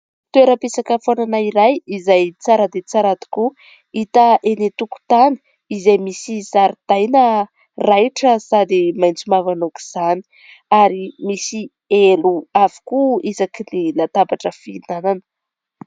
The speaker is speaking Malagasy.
Toeram-pisakafoanana iray izay tsara dia tsara tokoa, hita eny an-tokotany izay misy zaridaina raitra sady maitso mavana aok' izany ary misy elo avokoa isaky ny latabatra fihinana.